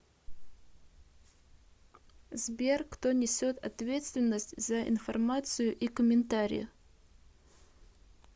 сбер кто несет ответственность за информацию и комментарии